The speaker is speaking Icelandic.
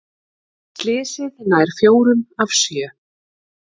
Slysið nær fjórum af sjö